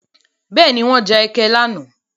Bẹ́ẹ̀ni, wọ́n ja ẹkẹ lánàá.